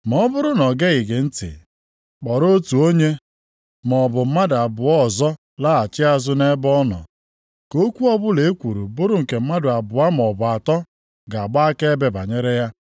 Ma ọ bụrụ na o geghị gị ntị, kpọrọ otu onye maọbụ mmadụ abụọ ọzọ laghachi azụ nʼebe ọ nọ, ‘ka okwu ọbụla ekwuru bụrụ nke mmadụ abụọ maọbụ atọ ga-agba akaebe banyere ya.’ + 18:16 \+xt Dit 19:15\+xt*.